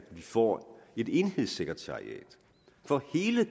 vi får et enhedssekretariat for hele